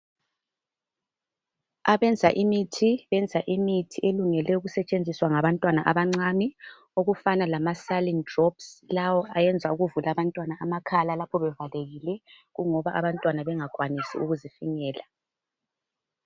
Abenza imithi benza imithi elungele ukusetshenziswa ngabantwana abancane okufana lama "saline drops",lawo ayenza ukuvula abantwana amakhala lapho bevalekile kungoba abantwana bengakwanisi ukuzifinyela.